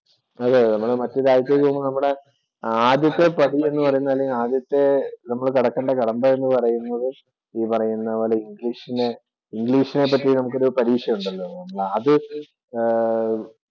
അതേയതേ. മറ്റു രാജ്യത്തേക്ക് പോകുമ്പോള്‍ നമ്മുടെ ആദ്യത്തെ പടി എന്ന് പറയുന്നത് തന്നെ ആദ്യത്തെ നമ്മള് കടക്കേണ്ട കടമ്പ എന്ന് പറയുന്നത് ഈ പറയുന്ന പോലെ ഇംഗ്ലീഷിനെ പറ്റി നമുക്ക് ഒരു പരീക്ഷ ഉണ്ടല്ലോ. അത് ആഹ്